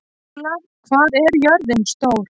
Ólaf, hvað er jörðin stór?